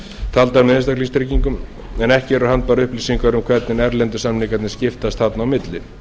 taldar með einstaklingstryggingum en ekki eru handbærar upplýsingar um hvernig erlendu samningarnir skiptast þarna á milli